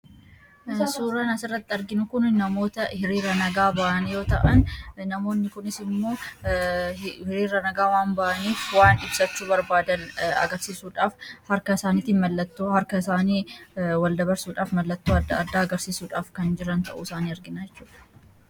Suuraan as irratti arginu kun namoota hiriira nagaa ba'an yoo ta'an namoonni kunis immoo hiriira nagaa waan ba'aniif waan ibsachuu barbaadan agarsiisuudhaaf harka isaaniitin mallattoo harka isaanii walda barsuudhaaf mallattoo addaa agarsiisuudhaaf kan jiran ta'uu isaani argina jechuudha.